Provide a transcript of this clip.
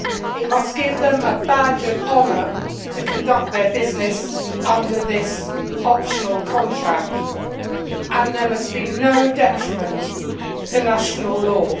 it must give them a badge of honour to conduct their business under this optional contract and there must be no detriment to national law.